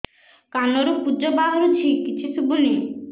କାନରୁ ପୂଜ ବାହାରୁଛି କିଛି ଶୁଭୁନି